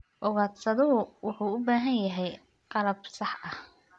Ugaadhsaduhu wuxuu u baahan yahay qalab sax ah.